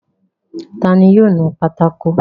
Ta ni yóò nu pátákó?